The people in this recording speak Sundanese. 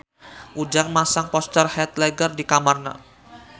Ujang masang poster Heath Ledger di kamarna